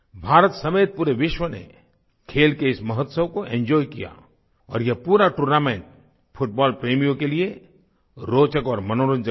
भारत समेत पूरे विश्व ने खेल के इस महोत्सव को एंजॉय किया और ये पूरा टूर्नामेंट फुटबॉल प्रेमियों के लिए रोचक और मनोरंजक रहा